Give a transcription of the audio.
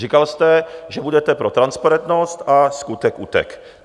Říkal jste, že budete pro transparentnost, a skutek utek!